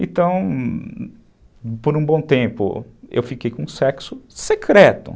Então, por um bom tempo, eu fiquei com sexo secreto.